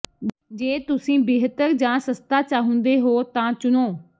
ਜੇ ਤੁਸੀਂ ਬਿਹਤਰ ਜਾਂ ਸਸਤਾ ਚਾਹੁੰਦੇ ਹੋ ਤਾਂ ਚੁਣੋ